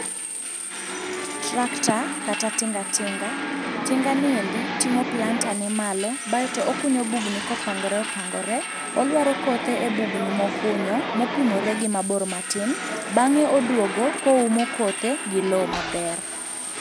Tractor kata tinga tinga, tinganiendi ting'o planter ne malo baeto okunyo bugni kopangore opangore, oluaro kothe e bugni mokunyo mopimore gi mabor matin, bang'e oduogo koumo kothe gi lo maber.